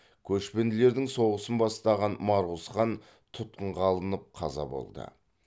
көшпенділердің соғысын бастаған марқұз хан тұтқынға алынып қаза болды